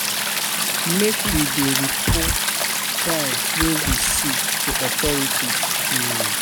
Make we dey report crime wey we see to authorities. um